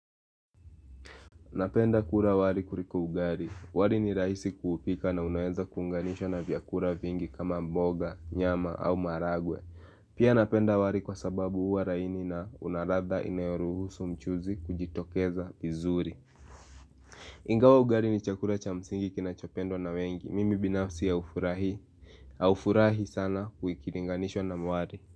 Napenda kula wali kuliko ugali. Wali ni rahisi kupika na unaeza kuunganishwa na vyakula vingi kama mboga, nyama au maragwe. Pia napenda wali kwa sababu huwa laini na una ladha inayoruhusu mchuzi kujitokeza vizuri. Ingawa ugali ni chakula cha msingi kinachopendwa na wengi. Mimi binafsi ya ufurahi. Aufurahi sana kuikilinganishwa na wali.